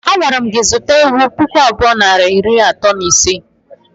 Agwara mụ gị zụta ewụ pụkụ abụọ nari atọ na iri ise!!!!!